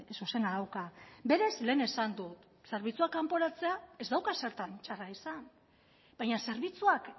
zuzena dauka berez lehen esan dut zerbitzuak kanporatzea ez dauka zertan txarra izan baina zerbitzuak